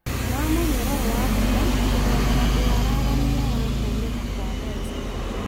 ma mũnyororo wa bata kũgerera ũararamia wa kuonekana kwa mbeca